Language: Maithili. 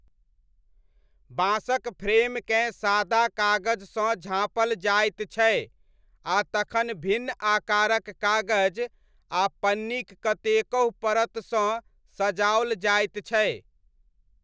बाँसक फ्रेमकेँ सादा कागजसँ झाँपल जाइत छै आ तखन भिन्न आकारक कागज आ पन्नीक कतेकहु परतसँ सजाओल जाइत छै।